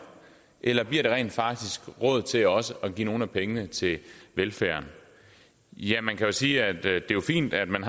eller bliver der rent faktisk råd til også at give nogle af pengene til velfærden ja man kan jo sige at det er fint at man